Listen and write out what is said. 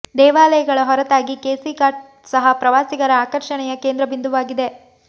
ದೇವಾಲಯಗಳ ಹೊರತಾಗಿ ಕೇಸಿ ಘಾಟ್ ಸಹ ಪ್ರವಾಸಿಗರ ಆಕರ್ಷಣೆಯ ಕೇಂದ್ರ ಬಿಂದುವಾಗಿದೆ